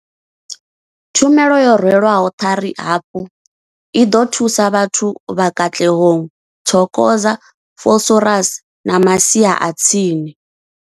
Tshumelo yo rwelwaho ṱari hafhu i ḓo thusa vhathu vha Katlehong, Thokoza, Vosloorus na masia a tsini.